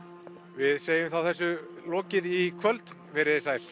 við segjum þá þessu lokið í kvöld verið þið sæl